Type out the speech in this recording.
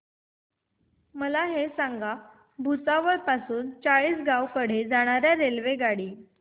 मला हे सांगा भुसावळ पासून चाळीसगाव कडे जाणार्या रेल्वेगाडी